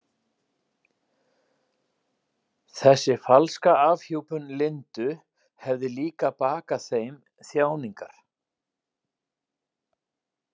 Þessi falska afhjúpun Lindu hefði líka bakað þeim þjáningar.